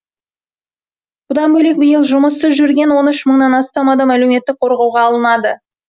бұдан бөлек биыл жұмыссыз жүрген он үш мыңнан астам адам әлеуметтік қорғауға алынады